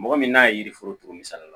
Mɔgɔ min n'a ye yiri foro turu misali la